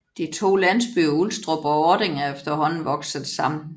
De to landsbyer Ulstrup og Ording er efterhånden vokset sammen